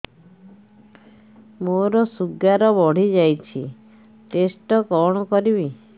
ମୋର ଶୁଗାର ବଢିଯାଇଛି ଟେଷ୍ଟ କଣ କରିବି